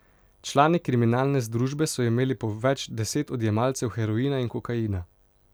Člani kriminalne združbe so imeli po več deset odjemalcev heroina in kokaina.